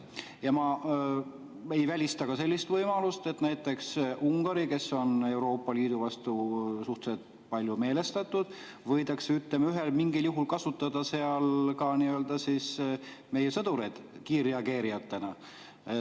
Ja ma ei välista ka sellist võimalust, et näiteks Ungaris, kes on Euroopa Liidu vastu suhteliselt meelestatud, võidakse, ütleme, mingil juhul kasutada ka meie sõdureid kiirreageerijatena.